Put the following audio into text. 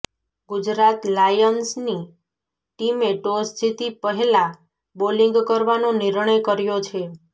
ગુજરાત લાયન્સની ટીમે ટોસ જીતી પહેલા બોલિંગ કરવાનો નિર્ણય કર્યો છે